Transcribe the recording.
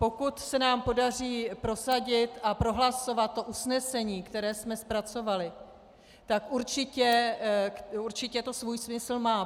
Pokud se nám podaří prosadit a prohlasovat to usnesení, které jsme zpracovali, tak určitě to svůj smysl má.